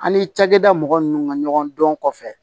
An ni cakɛda mɔgɔ nunnu ka ɲɔgɔn dɔn kɔfɛ